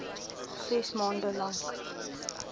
ses maande lank